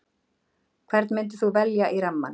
Hvern myndir þú velja í rammann?